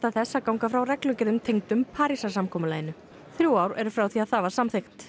þess að ganga frá reglugerðum tengdum Parísarsamkomulaginu þrjú ár eru frá því að það var samþykkt